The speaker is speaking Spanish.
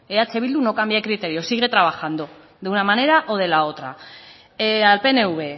eh bildu no cambia de criterio sigue trabajando de una manera o de la otra al pnv